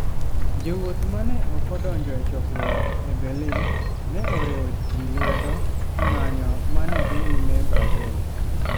Jowuoth ma ne ok odonjo e chokruok e Berlin ne oriwo ji lwedo e ng'anyo ma ne dhi nyime Brazil.